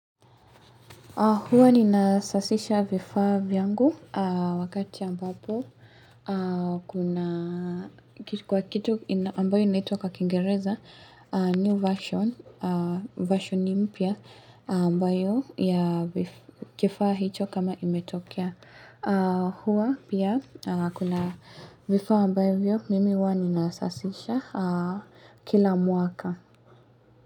Huwa ni nasafisha vifaa vyangu aah wakati ambapo aah kuna kwa kitu ambayo inaitwa kingereza new version, version ni mpya ambayo ya kifaa hicho kama imetokea. Huwa pia kuna vifaa ambavyo mimi huwa ninasasisha kila mwaka.